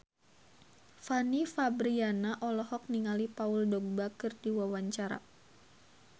Fanny Fabriana olohok ningali Paul Dogba keur diwawancara